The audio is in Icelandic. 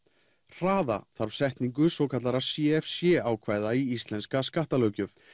hraða þarf setningu svokallaðra c f c ákvæða í íslenska skattalöggjöf